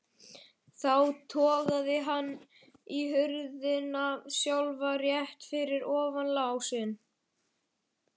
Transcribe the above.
Þá togaði hann í hurðina sjálfa, rétt fyrir ofan lásinn.